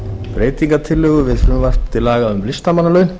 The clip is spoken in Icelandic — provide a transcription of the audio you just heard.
breytingartillögu við frumvarp til laga um listamannalaun